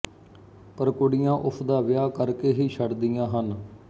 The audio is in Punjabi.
ਪਰ ਕੁੜੀਆਂ ਉਸ ਦਾ ਵਿਆਹ ਕਰ ਕੇ ਹੀ ਛੱਡਦੀਆਂ ਹਨ